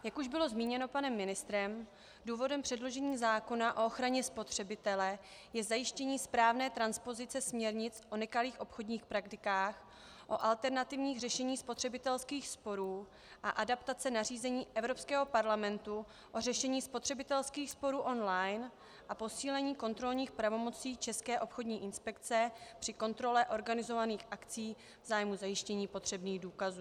Jak už bylo zmíněno panem ministrem, důvodem předložení zákona o ochraně spotřebitele je zajištění správné transpozice směrnic o nekalých obchodních praktikách, o alternativních řešeních spotřebitelských sporů a adaptace nařízení Evropského parlamentu o řešení spotřebitelských sporů online a posílení kontrolních pravomocí České obchodní inspekce při kontrole organizovaných akcí v zájmu zajištění potřebných důkazů.